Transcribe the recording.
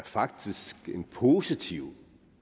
faktisk er et positivt